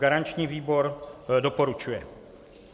Garanční výbor doporučuje.